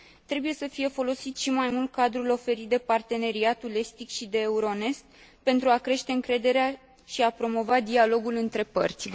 Trebuie să fie folosit și mai mult cadrul oferit de Parteneriatul estic și de Euronest pentru a crește încrederea și a promova dialogul între părți.